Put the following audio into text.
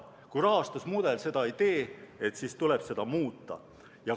Kui rahastusmudel seda ei tee, siis tuleb seda muuta.